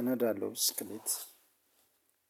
እነዳለሁ ብስክሌት።